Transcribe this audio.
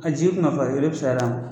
A jigi kunka farin o de fusar'a ma.